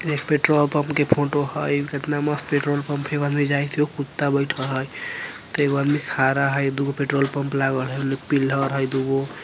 ये petrol pump के photo हई कितना मस्त पेट्रोल पम्प हई एगो अदमी जाइत हई एगो कुत्ता बेठा हई एगो आदमी खा रहा है दुगो पेट्रोल पम्प लागल है ओने पिलर हई दूगो ।